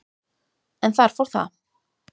en þar fór það.